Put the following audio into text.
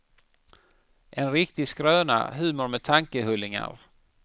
En riktig skröna, humor med tankehullingar.